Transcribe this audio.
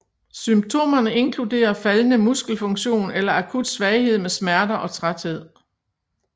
Symptomerne inkluderer faldende muskelfunktion eller akut svaghed med smerter og træthed